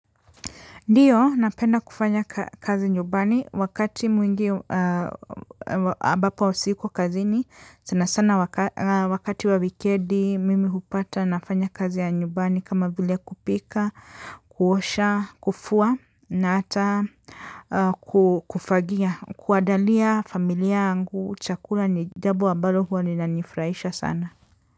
Ndiyo napenda kufanya kazi nyubani wakati mwingi abapo usiku kazini sana sana wakati wa wikedi mimi hupata nafanya kazi ya nyubani kama vile kupika, kuosha, kufua na ata kufagia, kuadalia familia angu, chakula ni jabo ambalo huwa ininanifuraisha sana.